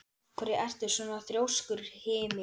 Af hverju ertu svona þrjóskur, Hymir?